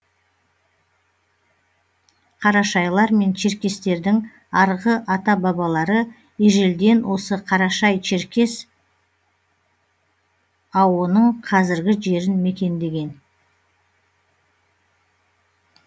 қарашайлар мен черкестердің арғы ата бабалары ежелден осы қарашай черкес ао ның қазіргі жерін мекендеген